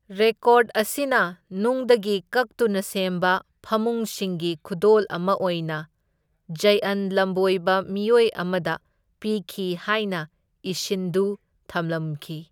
Record ꯑꯁꯤꯅ ꯅꯨꯡꯗꯒꯤ ꯀꯛꯇꯨꯅ ꯁꯦꯝꯕ ꯐꯃꯨꯡꯁꯤꯡꯒꯤ ꯈꯨꯗꯣꯜ ꯑꯃ ꯑꯣꯏꯅ ꯖꯩꯑꯟ ꯂꯝꯕꯣꯏꯕ ꯃꯤꯑꯣꯏ ꯑꯃꯗ ꯄꯤꯈꯤ ꯍꯥꯏꯅ ꯏꯁꯤꯟꯗꯨꯅ ꯊꯝꯂꯝꯈꯤ꯫